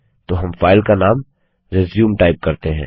तो हम फाइल का नाम रिज्यूम टाइप करते हैं